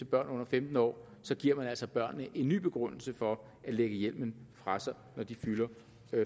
børn under femten år giver man altså børnene en ny begrundelse for at lægge hjelmen fra sig når de fylder